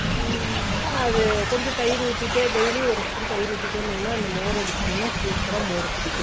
உத்திடே daily ஒரு spoon தயிர் உத்திடே இருந்தீங்கனா அந்த மோர் எடுத்திங்கனா super அ மோர் குடிக்கலாம்